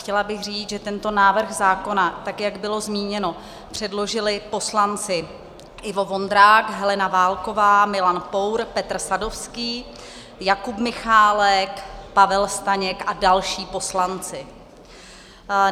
Chtěla bych říct, že tento návrh zákona, tak jak bylo zmíněno, předložili poslanci Ivo Vondrák, Helena Válková, Milan Pour, Petr Sadovský, Jakub Michálek, Pavel Staněk a další poslanci.